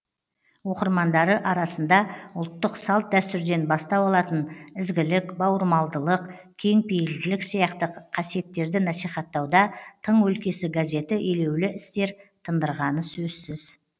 оқырмандары арасында ұлттық салт дәстүрден бастау алатын ізгілік бауырмалдылық кеңпейілділік сияқты қасиеттерді насихаттауда тың өлкесі газеті елеулі істер тындырғаны сөзсіз